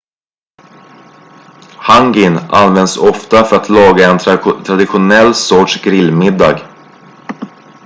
hangin används ofta för att laga en traditionell sorts grill-middag